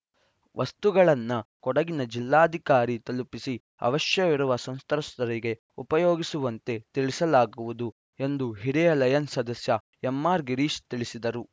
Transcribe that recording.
ವಸ್ತುಗಳನ್ನ ಕೊಡಗಿನ ಜಿಲ್ಲಾಧಿಕಾರಿ ತಲುಪಿಸಿ ಅವಶ್ಯವಿರುವ ಸಂತ್ರಸ್ತರಿಗೆ ಉಪಯೋಗಿಸುವಂತೆ ತಿಳಿಸಲಾಗುವುದು ಎಂದು ಹಿರಿಯ ಲಯನ್ಸ್‌ ಸದಸ್ಯ ಎಂಆರ್‌ಗಿರೀಶ್‌ ತಿಳಿಸಿದರು